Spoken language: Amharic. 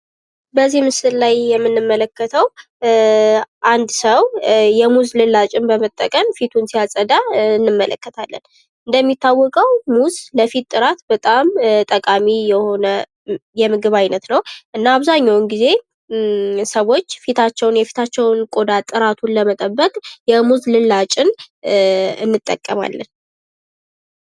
በዙህ ምስል ላይ የምንመለከተው አንድ ሰው የሙዝ ልላጭን በመጠቀም ፊቱን ሲያጸዳ እንመለከታለን። እንደሚታወቀው ለፊት ጥራት በጣም ጠቃሚ የሆነ የምግብ አይነት ነው። እና አብዛኛዉን ጊዜ ሰዎች የፊታቸውን የቆዳ ጥራት ለመጠበቅ የሙዝ ልላጭን እንጠቀማለን።